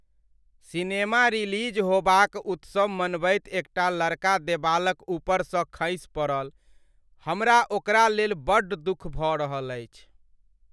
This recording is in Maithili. सिनेमा रिलीज़ होबाक उत्सव मनबैत एकटा लड़का देबालक ऊपरसँ खसि पड़ल। हमरा ओकरा लेल बड़ दुख भऽ रहल अछि।